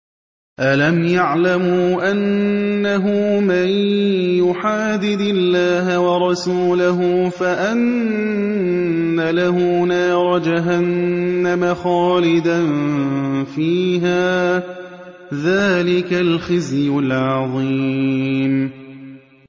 أَلَمْ يَعْلَمُوا أَنَّهُ مَن يُحَادِدِ اللَّهَ وَرَسُولَهُ فَأَنَّ لَهُ نَارَ جَهَنَّمَ خَالِدًا فِيهَا ۚ ذَٰلِكَ الْخِزْيُ الْعَظِيمُ